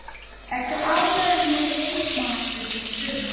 Ertu ánægður með leikmannakaupin í sumar?